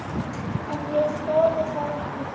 En ég þori það ekki.